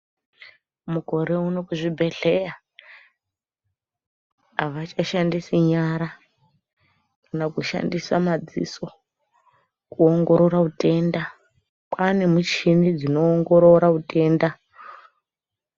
Mukerouno kuzvibhedhlera avachashandisi nyara kana kushandisa madziso kuongorora utenda kwaane michini dzinoongorora utenda.